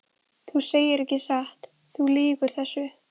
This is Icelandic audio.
Þú segir ekki satt, þú lýgur þessu!